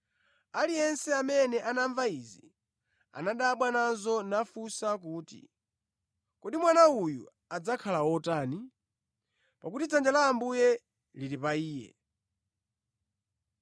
Aliyense amene anamva izi anadabwa nazo nafunsa kuti, “Kodi mwana uyu adzakhala wotani?” Pakuti dzanja la Ambuye lili pa iye.